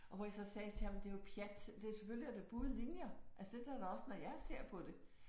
Og hvor jeg så sagde til ham det er jo pjat det selvfølgelig er det buede linjer. Altså det er der da også når jeg ser på det